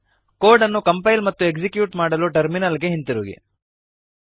code ಅನ್ನು compile ಮತ್ತು execute ಮಾಡಲು ಟರ್ಮಿನಲ್ ಗೆ ಹಿಂದಿರುಗಿ